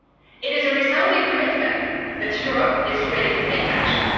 It is a resounding commitment that Europe is ready to take action.